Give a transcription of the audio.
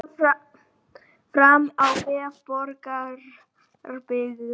Kemur þetta fram á vef Borgarbyggðar